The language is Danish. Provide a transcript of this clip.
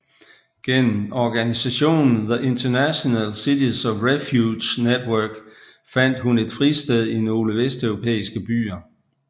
Gennem organisationen The International Cities of Refuge Network fandt hun et fristed i nogle vesteuropæiske byer